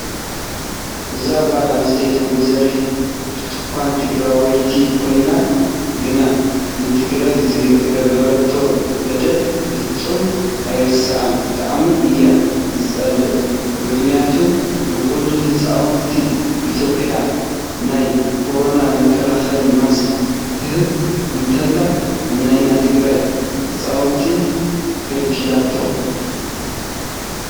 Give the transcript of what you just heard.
እዛ ጓል ኣነስተይቲ ወ/ሮ ብርትኳን ትግረወይቲ ኮይና ግና ንትግራይ ዝገበረቶ በደል ፈፂመ ኣይርሰዖን ብጣዕሚ እያ ዝፀልኣ! ምክንያቱ ንኩሉን ህፃውቲ ኢትዮጰያ ናይ ኮሮና መካላከሊ ማስክ ክትህብ እንተላ ንናይ ትግራይ ህፃውንቲ ከልኪላቶም።